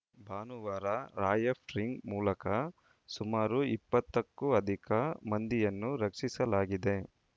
ಭಾನುವಾರ ರಾಯಫ್ಟಿಂಗ್‌ ಮೂಲಕ ಸುಮಾರು ಇಪ್ಪತ್ತಕ್ಕೂ ಅಧಿಕ ಮಂದಿಯನ್ನು ರಕ್ಷಿಸಲಾಗಿದೆ